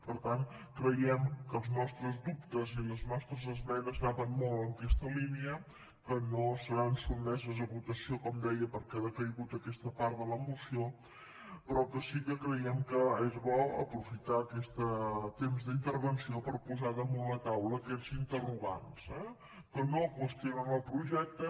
per tant creiem que els nostres dubtes i les nostres esmenes anaven molt en aquesta línia que no seran sotmeses a votació com deia perquè ha decaigut aquesta part de la moció però que sí que creiem que és bo aprofitar aquest temps d’intervenció per posar damunt la taula aquests interrogants eh que no qüestionen el projecte